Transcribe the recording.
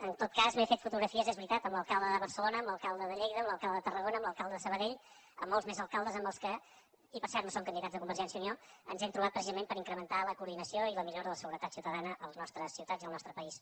en tot cas m’he fet foto grafies és veritat amb l’alcalde de barcelona amb l’alcalde de lleida amb l’alcalde tarragona amb l’alcalde de sabadell amb molts més alcaldes amb els quals i per cert no són candidats de convergència i unió ens hem trobat precisament per incrementar la coordinació i la millora de la seguretat ciutadana a les nostres ciutats i al nostre país